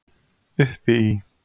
Uppi í